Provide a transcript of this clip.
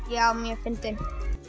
já mjög fyndinn